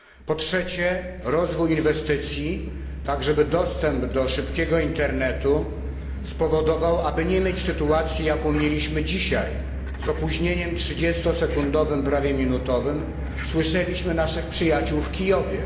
Po trzecie, rozwój inwestycji, tak żeby dostęp do szybkiego internetu spowodował, aby nie mieć sytuacji, jaką mieliśmy dzisiaj z opóźnieniem 30 sekundowym, prawie minutowym, słyszeliśmy naszych przyjaciół w Kijowie.